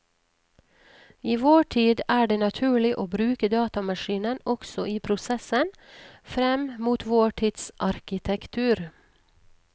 I vår tid er det naturlig å bruke datamaskinen også i prosessen frem mot vår tids arkitektur.